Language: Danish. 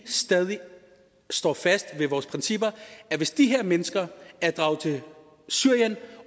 stadig står fast ved vores principper hvis de her mennesker er draget til syrien